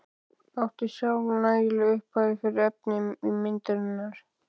Átti sjálf nægilega upphæð fyrir efni í myndirnar.